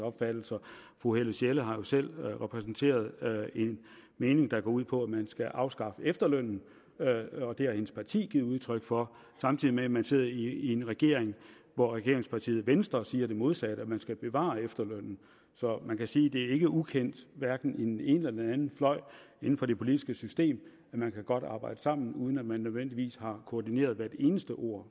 opfattelser fru helle sjelle har jo selv repræsenteret en mening der går ud på at man skal afskaffe efterlønnen og det har hendes parti givet udtryk for samtidig med at man sidder i en regering hvor regeringspartiet venstre siger det modsatte nemlig at man skal bevare efterlønnen så man kan sige at det ikke er ukendt hverken i den ene eller anden fløj inden for det politiske system at man godt kan arbejde sammen uden at man nødvendigvis har koordineret hvert eneste ord